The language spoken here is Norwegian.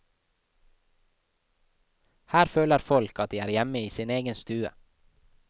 Her føler folk at de er hjemme i sin egen stue.